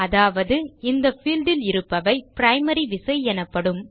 அதாவது இந்த பீல்ட் இல் இருப்பவை பிரைமரி விசை எனப்படும்